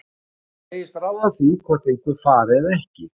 Hann segist ráða því hvort einhver fari eða ekki.